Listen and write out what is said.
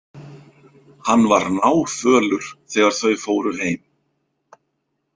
Hann var náfölur þegar þau fóru heim.